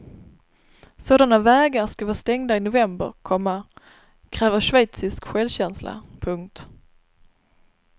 Sådana vägar ska vara stängda i november, komma kräver schweizisk självkänsla. punkt